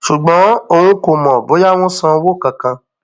ṣùgbọn òun kò mọ bóyá wọn san owó kankan